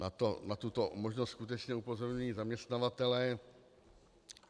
Na tuto možnost skutečně upozorňují zaměstnavatelé.